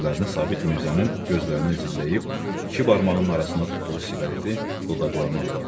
Gözlərini Sabit Mirzənin gözlərinə zilləyib iki barmağının arasında tutduğu siqareti dodaqlarına apardı.